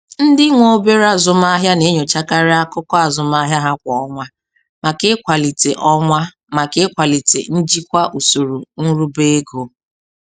Ndị nwe obere azụmaahịa na-enyochakarị akụkọ azụmahịa ha kwa ọnwa maka ịkwalite ọnwa maka ịkwalite njikwa usoro nruba ego.